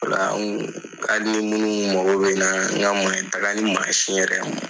Ola hali ni munnu mago nka taga ni mansin yɛrɛ